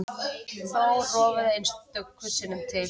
Þó rofaði einstöku sinnum til.